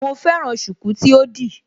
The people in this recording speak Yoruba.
Mo fẹ́ràn ṣùkú tí ó di